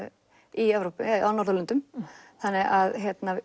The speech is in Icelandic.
í Evrópu eða á Norðurlöndum